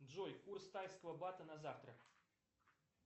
джой курс тайского бата на завтра